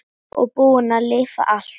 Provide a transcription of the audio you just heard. Og búin að lifa allt.